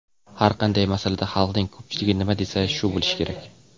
"Har qanday masalada xalqning ko‘pchiligi nima desa shu bo‘lishi kerak".